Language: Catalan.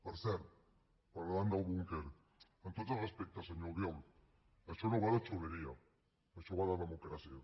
per cert parlant del búnquer amb tots els respectes senyor albiol això no va de xuleria això va democràcia